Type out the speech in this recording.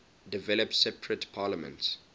developed separate parliaments